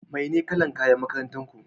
Mai na kala'n kayan makarantan ku?